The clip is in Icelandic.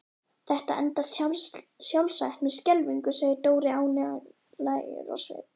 Þetta endar sjálfsagt með skelfingu segir Dóri ánægjulegur á svip.